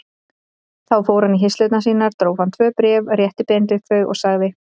Þá fór hann í hirslur sínar, dró fram tvö bréf, rétti Benedikt þau og sagði